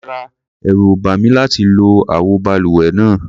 Rárá, ẹ̀rù ò bà mí láti lo àwo balùwẹ̀ náà.